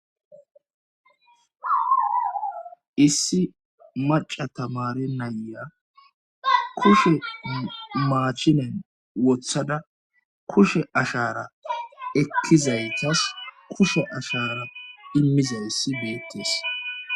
issi maca tamari nayya kushe maachinen wothada kushe ashara ekkizaytas kushe ashara immizayssi beettes